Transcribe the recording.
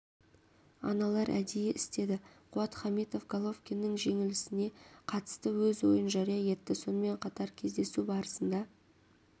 аналар әдейі істеді қуат хамитов головкиннің жеңілісіне қатысты өз ойын жария етті сонымен қатар кездесу барысында